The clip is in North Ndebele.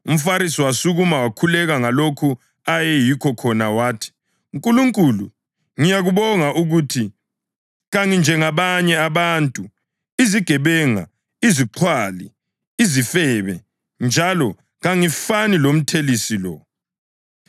UmFarisi wasukuma wakhuleka ngalokho ayeyikho khona wathi: ‘Nkulunkulu, ngiyakubonga ukuthi kanginjengabanye abantu, izigebenga, izixhwali, izifebe njalo kangifani lomthelisi lo.